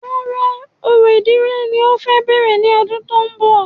Rárá, orò ìdílé ni o fẹ bẹ̀rẹ̀ ní ọdún tó ń bọ̀